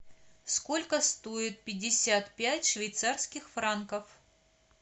сколько стоит пятьдесят пять швейцарских франков